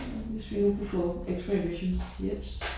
Hvis vi nu kunne få x-ray visions jeps